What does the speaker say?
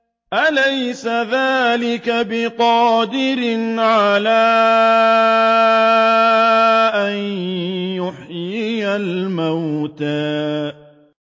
أَلَيْسَ ذَٰلِكَ بِقَادِرٍ عَلَىٰ أَن يُحْيِيَ الْمَوْتَىٰ